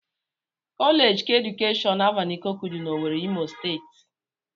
Kọleeji keedukeshọn Alvan Ikokwu dị n'Owere, Imo steeti